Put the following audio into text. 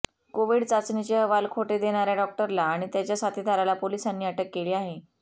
Covid चाचणीचे अहवाल खोटे देणाऱ्या डॉक्टरला आणि त्याच्या साथीदाराला पोलिसांनी अटक केली आहे